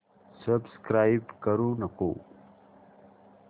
subscribe करू नको